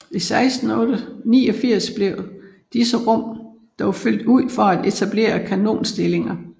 I 1689 blev disse rum dog fyldt ud for at etableret kanonstillinger